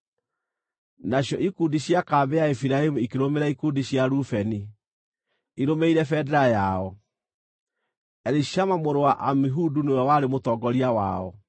Nacio ikundi cia kambĩ ya Efiraimu ikĩrũmĩrĩra ikundi cia Rubeni, irũmĩrĩire bendera yao. Elishama mũrũ wa Amihudu nĩwe warĩ mũtongoria wao.